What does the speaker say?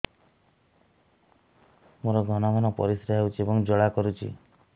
ମୋର ଘନ ଘନ ପରିଶ୍ରା ହେଉଛି ଏବଂ ଜ୍ୱାଳା କରୁଛି